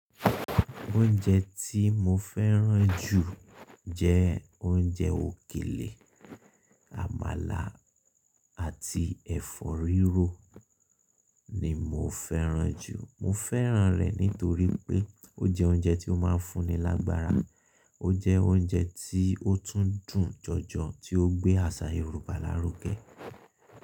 Oúnjẹ tí mo fẹ́ràn jù jẹ́ oúnjẹ òkèlè. Àmàlà àti ẹ̀fọ́ rírò ni mo fẹ́ràn jù. Mo fẹ́ràn rẹ̀ nítorí pé ó jẹ́ oúnjẹ tí ó máa ń fún ni lágbára, ó jẹ́ oúnjẹ tí ó tún dùn jọjọ, tí ó gbé àṣà Yorùbá lárugẹ.